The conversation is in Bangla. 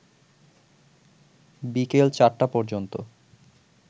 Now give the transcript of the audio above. বিকেল ৪টা পর্যন্ত